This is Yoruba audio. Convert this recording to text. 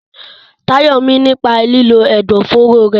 Tayo mí nípa lílo ẹ̀dọ̀fóró rẹ̀.